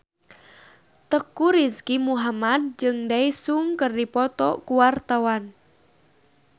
Teuku Rizky Muhammad jeung Daesung keur dipoto ku wartawan